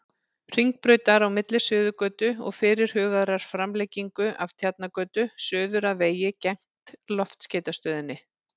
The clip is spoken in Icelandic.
Hringbrautar, á milli Suðurgötu og fyrirhugaðrar framlengingu af Tjarnargötu, suður að vegi gegnt Loftskeytastöðinni.